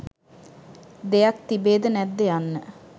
දෙයක් තිබේද නැද්ද යන්න